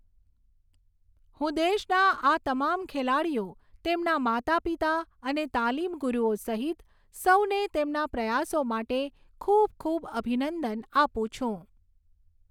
હું દેશના આ તમામ ખેલાડીઓ તેમના માતાપિતા અને તાલીમ ગુરૂઓ સહિત સૌને તેમના પ્રયાસો માટે ખૂબ ખૂબ અભિનંદન આપું છું.